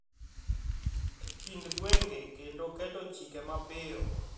E kind gwenge kendo keto chike mapiyo